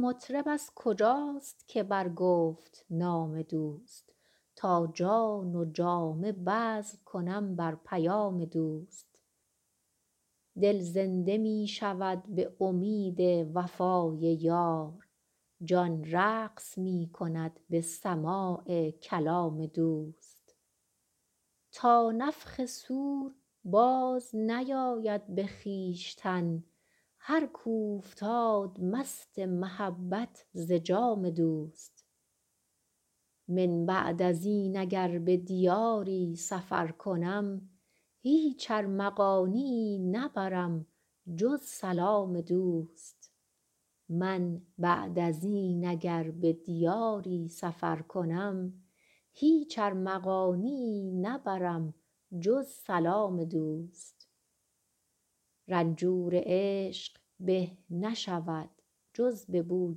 این مطرب از کجاست که برگفت نام دوست تا جان و جامه بذل کنم بر پیام دوست دل زنده می شود به امید وفای یار جان رقص می کند به سماع کلام دوست تا نفخ صور بازنیاید به خویشتن هر کاو فتاد مست محبت ز جام دوست من بعد از این اگر به دیاری سفر کنم هیچ ارمغانیی نبرم جز سلام دوست رنجور عشق به نشود جز به بوی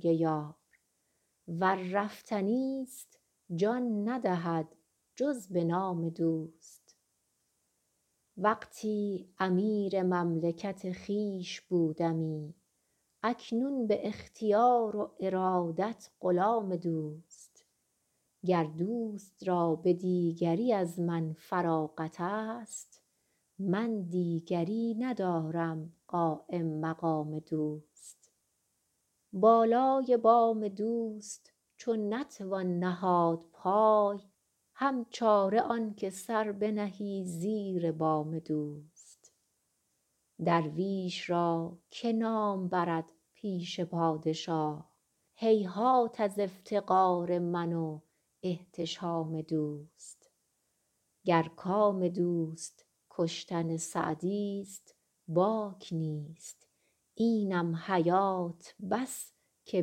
یار ور رفتنی ست جان ندهد جز به نام دوست وقتی امیر مملکت خویش بودمی اکنون به اختیار و ارادت غلام دوست گر دوست را به دیگری از من فراغت ست من دیگری ندارم قایم مقام دوست بالای بام دوست چو نتوان نهاد پای هم چاره آن که سر بنهی زیر بام دوست درویش را که نام برد پیش پادشاه هیهات از افتقار من و احتشام دوست گر کام دوست کشتن سعدی ست باک نیست اینم حیات بس که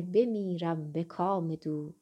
بمیرم به کام دوست